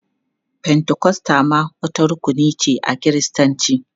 Fentikosta ma wata rukuni ce a Kiristanci.